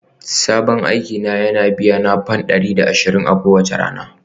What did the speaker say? Sabon aiki na yana biyana fam dari biyar da ashirin kowace rana